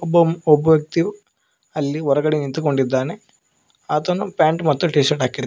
ಬಂ ಒಬ್ಬ ವ್ಯಕ್ತಿಯು ಅಲ್ಲಿ ಹೊರಗಡೆ ನಿಂತುಕೊಂಡೊದ್ದಾನೆ ಆತನು ಪ್ಯಾಂಟ್ ಮತ್ತು ಟೀ ಶರ್ಟ್ ಹಾಕಿರು--